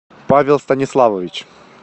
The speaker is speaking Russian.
павел станиславович